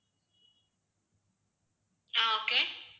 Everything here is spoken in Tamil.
ஆஹ் okay